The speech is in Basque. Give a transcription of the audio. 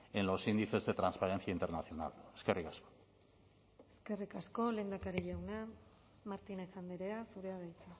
en los índices de transparencia internacional eskerrik asko eskerrik asko lehendakari jauna martínez andrea zurea da hitza